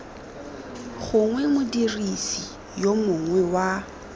gongwe modirisi yo mongwe wa